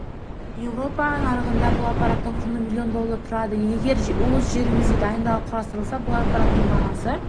еуропа нарығында бұл аппараттың құны миллион доллар тұрады егер өз жерімізде дайындалып құрастырылса бұл аппараттың бағасы